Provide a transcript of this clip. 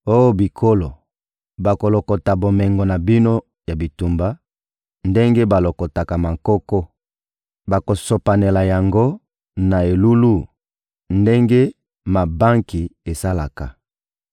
Oh bikolo, bakolokota bomengo na bino ya bitumba ndenge balokotaka mankoko; bakosopanela yango na elulu ndenge mabanki esalaka.